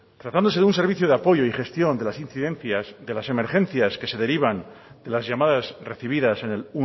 tratándose de un servicio de apoyo y gestión de las incidencias y de las emergencias que se derivan de las llamadas recibidas en el